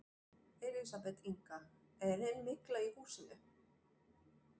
Elísabet Inga: Er enn mygla í húsinu?